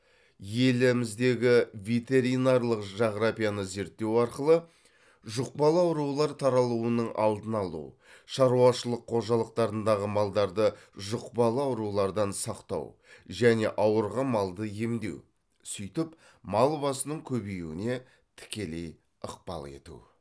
еліміздегі ветеринарлық жағрапияны зерттеу арқылы жұқпалы аурулар таралуының алдын алу шаруашылық қожалықтарындағы малдарды жұқпалы аурулардан сақтау және ауырған малды емдеу сөйтіп мал басының көбеюіне тікелей ықпал ету